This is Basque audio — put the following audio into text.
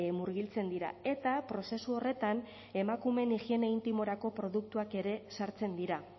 murgiltzen dira eta prozesu horretan emakumeen higiene intimorako produktuak ere sartzen dira